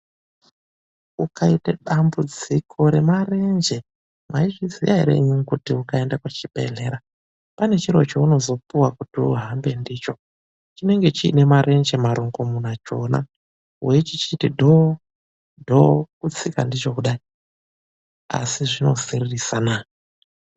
Ukaite dambudziko remarenje, mwaizviziya ere imwimwi kuti ukaenda kuchibhedhlera pane chiro cheunozopuwa kuti uhambe ndicho ,chinenge chine marenje marongomuna, chona weichiita dhoo ,dhoo kutsika ndicho kudai ,asi zvinosiririsa naa!